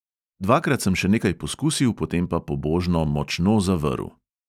Dvakrat sem še nekaj poskusil, potem pa pobožno močno zavrl.